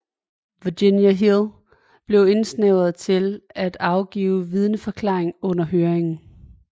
Virginia Hill blev indstævnt til at afgive vidneforklaring under høringerne